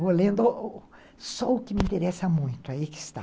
só o que me interessa muito, aí que está.